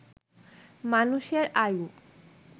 মানুষের আয়ু